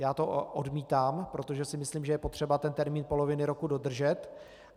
Já to odmítám, protože si myslím, že je potřeba ten termín poloviny roku dodržet.